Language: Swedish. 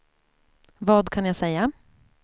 vad kan jag säga